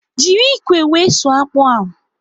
Jiri ikwe wee sụọ akpụ ahụ